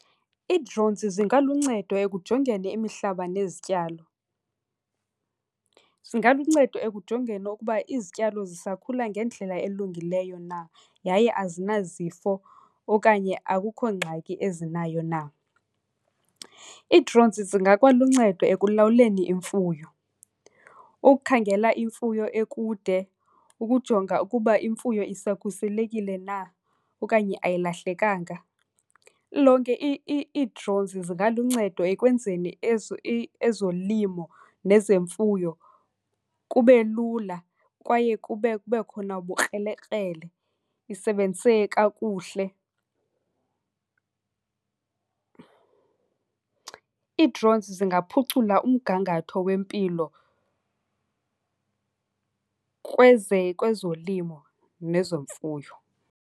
Ii-drones zingaluncedo ekujongeni imihlaba nezityalo. Zingaluncedo ekujongeni ukuba izityalo zisakhula ngendlela elungileyo na yaye azinazifo okanye akukho ngxaki ezinayo na. Ii-drones zingakwaluncedo ekulawuleni imfuyo, ukukhangela imfuyo ekude, ukujonga ukuba imfuyo isakhuselekile na okanye ayilahlekanga. Lilonke ii-drones zingaluncedo ekwenzeni ezolimo nezemfuyo kube lula kwaye kube khona ubukrelekrele, isebenziseke kakuhle. Ii-drones zingaphucula umgangatho wempilo kwezolimo nezomfuyo.